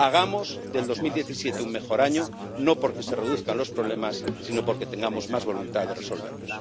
Hagamos del 2017 un mejor año no porque se reduzcan los problemas sino porque tengamos más voluntad de resolverlos.